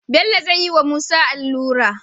Bello zayi wa musa alura